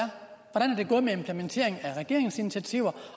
gået med implementeringen af regeringsinitiativer